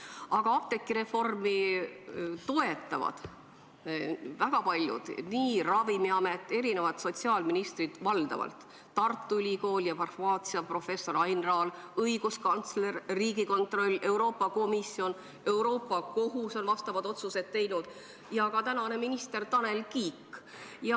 Aga apteegireformi toetavad väga paljud: nii Ravimiamet, eri sotsiaalministrid – valdavalt –, Tartu Ülikool ja farmaatsiaprofessor Ain Raal, õiguskantsler, Riigikontroll, Euroopa Komisjon, Euroopa Kohus, kes on vastavaid otsuseid teinud, ja ka tänane minister Tanel Kiik.